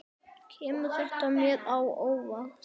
Kemur þetta mér á óvart?